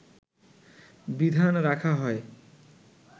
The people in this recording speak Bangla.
বিধান রাখা হয়